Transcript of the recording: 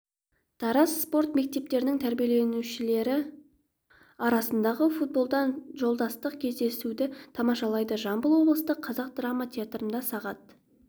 тараз спорт мектептерінің тәрбиеленушілері арасындағы футболдан жолдастық кездесуді тамашалайды жамбыл облыстық қазақ драма театрында сағат